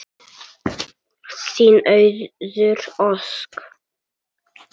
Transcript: Þín Auður Ósk.